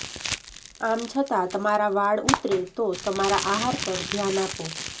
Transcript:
આમ છતાં તમારા વાળ ઊતરે તો તમારા આહાર પર ધ્યાન આપો